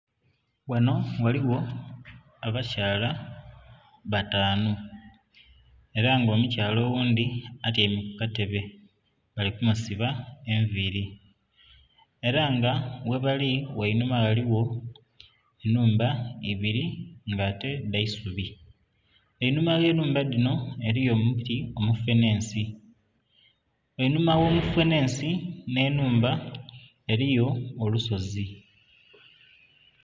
Ghano ghaligho abakyala batanu era nga omukyala oghundhi atyaime kukatebe bali kumusiba enviiri era nga ghebali wainhuma ghaligho enhumba ibiri nga ete dhaisubi, einhuma gh'enhumba dhino eriyo omuti omufenhensi, einhuma ogh'omufenhensi n'enhumba eriyo olusozi.